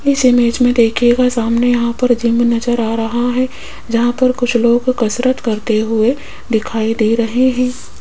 इस इमेज में दिखेगा सामने यहां पर जिम नजर आ रहा है जहां पर कुछ लोग कसरत करते हुए दिखाई दे रहे हैं।